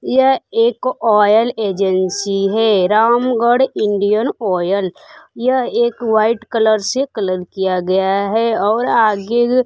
यह एक oil agency है रामगढ़ इंडियन ऑयल यह एक वाइट कलर से कलर किया गया है और आगे --